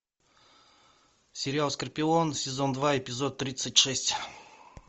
сериал скорпион сезон два эпизод тридцать шесть